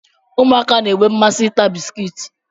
Ụmụaka na-enwe mmasị ịta bisikiiti.